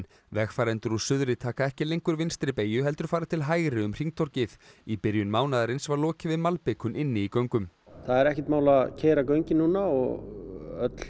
vegfarendur úr suðri taka ekki lengur vinstri beygju heldur fara til hægri um hringtorgið í byrjun mánaðarins var lokið við malbikun inni í göngum það er ekkert mál að keyra göngin núna og öll